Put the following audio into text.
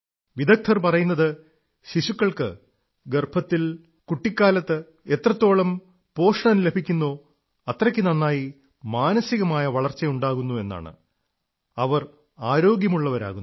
വിദഗ്ധർ പറയുന്നത് ശിശുക്കൾക്ക് ഗർഭത്തിൽ കുട്ടിക്കാലത്ത് എത്രത്തോളം പോഷണം ലഭിക്കുന്നോ അത്രയ്ക്ക് നന്നായി മാനസികമായ വളർച്ച ഉണ്ടാകുന്നു എന്നാണ് അവർ ആരോഗ്യമുള്ളവയാകുന്നു